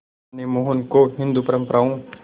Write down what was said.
मां ने मोहन को हिंदू परंपराओं